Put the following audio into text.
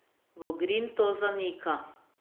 Vogrin to zanika.